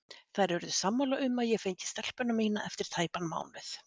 Þær urðu sammála um að ég fengi stelpuna mína eftir tæpan mánuð.